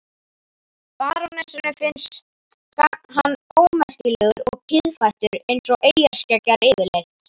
Barónessunni finnst hann ómerkilegur og kiðfættur eins og eyjarskeggjar yfirleitt.